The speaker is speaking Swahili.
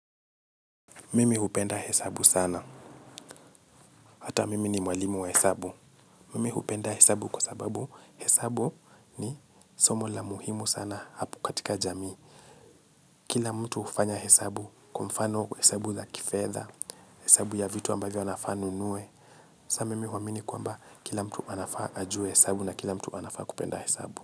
Mimi hupenda hesabu hata mimi ni mwalimu wa hesabu mimi hupenda hesabu kwa sababu hesabu ni somo la muhimu katika jamii. Kila mtu ufanya hesabu kwa mfano hesabu za kifedha, hesabu ya vitu ambavyo anafaa anu nuwe. Sa mimi huamini kwamba kila mtu anafaa ajue hesabu na kila mtu anafaa kupenda hesabu.